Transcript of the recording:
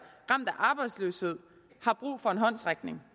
ramt af arbejdsløshed har brug for en håndsrækning